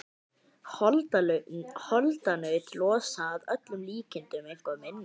Holdanaut losa að öllum líkindum eitthvað minna.